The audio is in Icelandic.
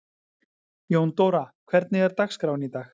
Jóndóra, hvernig er dagskráin í dag?